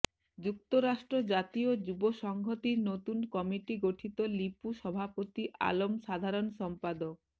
যুক্তরাষ্ট্র জাতীয় যুব সংহতির নতুন কমিটি গঠিত লিপু সভাপতি আলম সাধারণ সম্পাদক